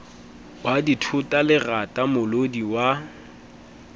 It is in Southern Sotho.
wa dithota lerata molodi wa